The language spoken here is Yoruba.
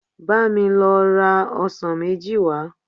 Bá mi lọ ra ọsàn méjì wá